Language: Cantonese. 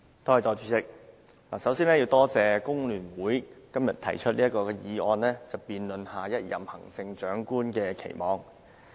代理主席，首先多謝工聯會今天提出這項議案，辯論對下任行政長官的期望。